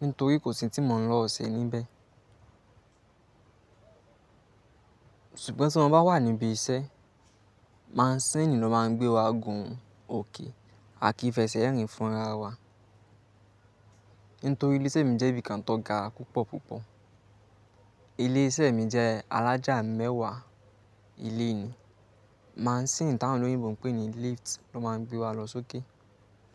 nítorí kò sí tí mo lè lọ ṣe níbẹ̀. Sugọ̀n tí mo bá wà níbí iṣẹ́, maṣíìnì ló máa ń gbé wa gùn òkè àki fẹsẹ̀ rìn fún ara wa. Nítorí ilé iṣẹ́ mi jẹ́ ibi kan tó ga púpọ̀ púpọ̀. Ilé iṣẹ́ mi jẹ́ alájà mẹ́wa ilé nii, maasin tí àwọn olóyìnbó ńpè ní lift ló má ń gbé wa lọ sí òkè.